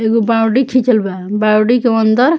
एगो बाउंड्री खिचल बा बाउंड्री के अंदर --